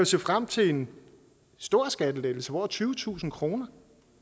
se frem til en stor skattelettelse over tyvetusind kroner